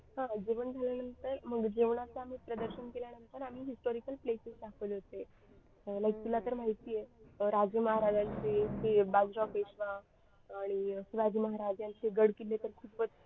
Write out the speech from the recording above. हा जेवण झाल्यानंतर मग जेवणाचा आम्ही प्रदर्शन केल्यानंतर आम्ही historical places दाखवले होते like तुला तर माहिती आहे राजे महाराजांचे ते बाजीराव पेशवा आणि राजे महाराजांचे गड किल्ले तर खूपच